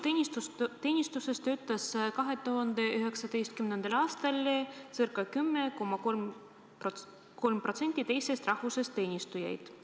Avalikus teenistuses töötas 2019. aastal ca 10,3% teisest rahvusest teenistujaid.